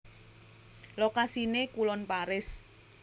Lokasiné kulon Paris